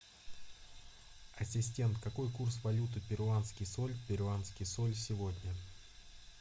ассистент какой курс валюты перуанский соль перуанский соль сегодня